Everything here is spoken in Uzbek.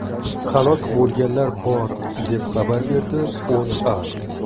Halok bo‘lganlar bor, deb xabar beradi O‘zA.